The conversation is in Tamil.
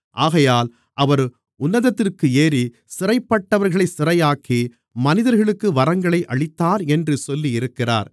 ஆகையால் அவர் உன்னதத்திற்கு ஏறி சிறைப்பட்டவர்களைச் சிறையாக்கி மனிதர்களுக்கு வரங்களை அளித்தார் என்று சொல்லியிருக்கிறார்